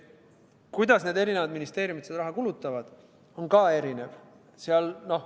Kuidas ministeeriumid seda raha kulutavad, on samuti erinev.